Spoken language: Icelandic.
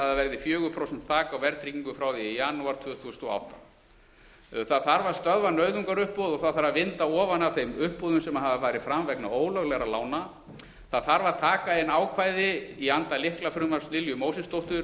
að það verði fjögur prósent þak á verðtryggingu frá því í janúar tvö þúsund og átta það þarf að stöðva nauðungaruppboð og það þarf að vinda ofan af þeim uppboðum sem hafa farið fram vegna ólöglegra lána það þarf að taka inn ákvæði í anda lyklafrumvarps lilju mósesdóttur